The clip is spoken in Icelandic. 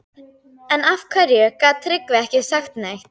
En af hverju gat Tryggvi ekki sagt neitt?